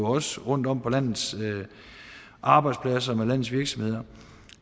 også rundtom på landets arbejdspladser med landets virksomheder